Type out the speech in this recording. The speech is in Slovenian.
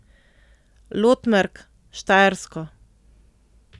Lotmerk, Štajersko.